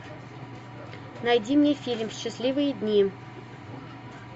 найди мне фильм счастливые дни